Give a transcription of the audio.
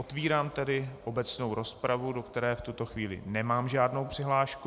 Otevírám tedy obecnou rozpravu, do které v tuto chvíli nemám žádnou přihlášku.